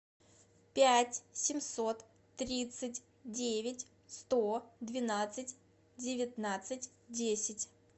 пять семьсот тридцать девять сто двенадцать девятнадцать десять